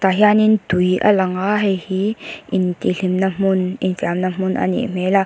tah hianin tui a lang a hei hi intihhlimna hmun infiamna hmun a nih hmel a.